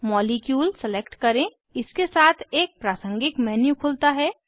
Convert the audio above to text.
molecule select करें इसके साथ एक प्रासंगिक मेन्यू खुलता है